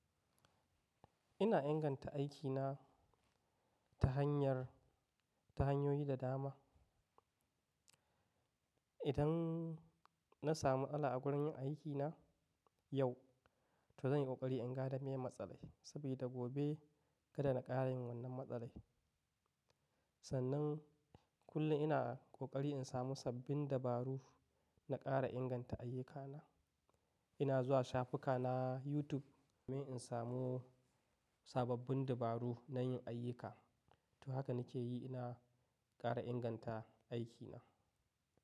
Ina inganta aikina ta hanyar, ta hanyoyi da dama. Idan na samu matsala wurin yin aikina yau, to zan yi ƙoƙari in gada me matsala sabida gobe kada na ƙara yin wannan matsalar. Sannan kullum ina ƙoƙari in samu sabbin dabaru na ƙara inganta ayyukana. Ina zuwa shafuka na YouTube domin in samu sababbin dabaru na yin ayyuka. To haka nake yi ina ƙara inganta aikina.